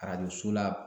Arajo so la